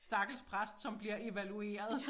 Stakkels præst som bliver evalueret